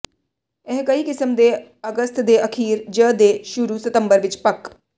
ਇਹ ਕਈ ਕਿਸਮ ਦੇ ਅਗਸਤ ਦੇ ਅਖੀਰ ਜ ਦੇ ਸ਼ੁਰੂ ਸਤੰਬਰ ਵਿੱਚ ਪੱਕ